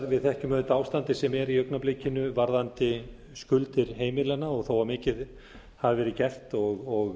við þekkjum auðvitað ástandið sem er í augnablikinu varðandi skuldir heimilanna og þó að mikið hafi verið gert og